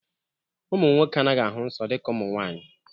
Ụmụ nwoke anaghị ahụ nsọ dịka ụmụ nwanyị